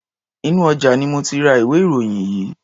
Inú ọjà ni mo ti ra ìwé-ìròyìn yìí.